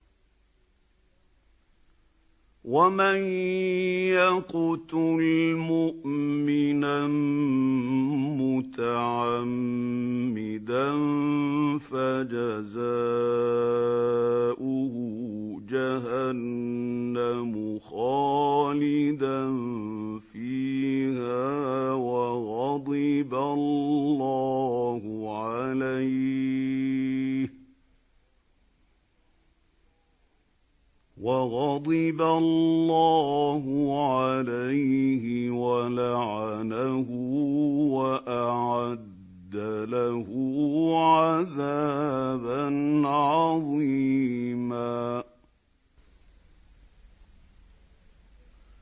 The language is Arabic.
وَمَن يَقْتُلْ مُؤْمِنًا مُّتَعَمِّدًا فَجَزَاؤُهُ جَهَنَّمُ خَالِدًا فِيهَا وَغَضِبَ اللَّهُ عَلَيْهِ وَلَعَنَهُ وَأَعَدَّ لَهُ عَذَابًا عَظِيمًا